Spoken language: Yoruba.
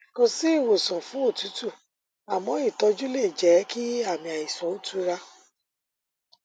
kò sí ìwòsàn fún òtútù àmọ ìtọjú lè jẹ kí àmì àìsàn ó tura